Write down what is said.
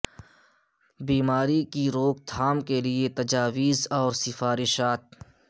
بیماری کی روک تھام کے لئے تجاویز اور سفارشات